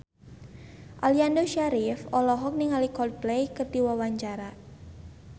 Aliando Syarif olohok ningali Coldplay keur diwawancara